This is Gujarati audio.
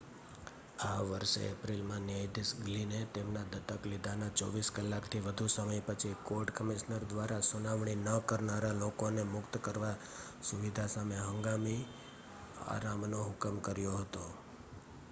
આ વર્ષે એપ્રિલમાં ન્યાયાધીશ ગ્લિને તેમના દત્તક લીધાના 24 કલાકથી વધુ સમય પછી કોર્ટ કમિશનર દ્વારા સુનાવણી ન કરનારા લોકોને મુક્ત કરવા સુવિધા સામે હંગામી આરામનો હુકમ કર્યો હતો